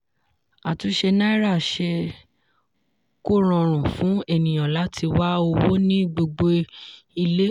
àtúnṣe náírà ṣe kó rọrùn fún ènìyàn láti wá owó ní gbogbo ilé.